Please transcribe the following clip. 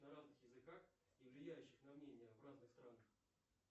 на разных языках и влияющих на мнение в разных странах